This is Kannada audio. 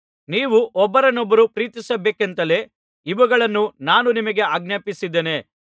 ನೀವು ಒಬ್ಬರನ್ನೊಬ್ಬರು ಪ್ರೀತಿಸಬೇಕೆಂತಲೇ ಇವುಗಳನ್ನು ನಾನು ನಿಮಗೆ ಆಜ್ಞಾಪಿಸುತ್ತಿದ್ದೇನೆ